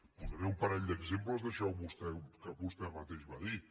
posaré un parell d’exemples d’això que vostè mateix va dir